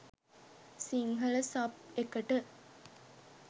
Sinhala sub එකට.